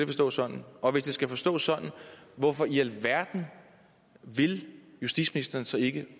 forstås sådan og hvis det skal forstås sådan hvorfor i alverden vil justitsministeren så ikke